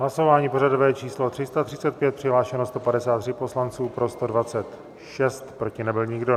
Hlasování pořadové číslo 335, přihlášeno 153 poslanců, pro 126, proti nebyl nikdo.